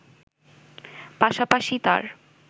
পাশাপাশি তার